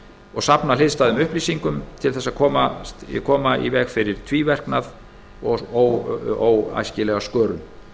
og safna hliðstæðum upplýsingum til þess að koma í veg fyrir tvíverknað og óæskilega skörun